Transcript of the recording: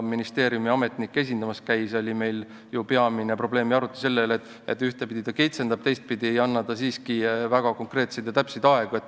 Ministeeriumiametnik käis kohal ja meil oli peamine arutelu selle probleemi üle, et ühtepidi ta kitsendab, teistpidi aga ei anna siiski väga konkreetseid ja täpseid aegu.